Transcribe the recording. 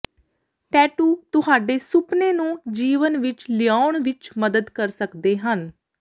tattoo ਤੁਹਾਡੇ ਸੁਪਨੇ ਨੂੰ ਜੀਵਨ ਵਿਚ ਲਿਆਉਣ ਵਿਚ ਮਦਦ ਕਰ ਸਕਦੇ ਹਨ